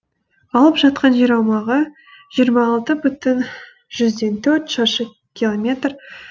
алып жатқан жер аумағы жиырма алты бүтін жүзден төрт шаршы километр